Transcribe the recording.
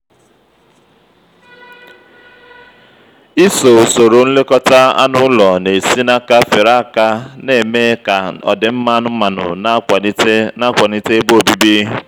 iso usoro nlekọta anụ ụlọ na-esi n' aka fere aka na-eme ka ọdịmma anụmanụ na akwanite na akwanite ebe obibi.